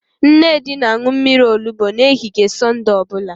Nnedi na-aṅụ mmiri olubo n'ehihie Sọnde ọ bụla